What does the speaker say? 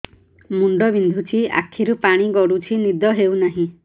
ମୁଣ୍ଡ ବିନ୍ଧୁଛି ଆଖିରୁ ପାଣି ଗଡୁଛି ନିଦ ହେଉନାହିଁ